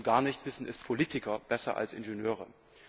Schon gar nicht wissen es Politiker besser als Ingenieure.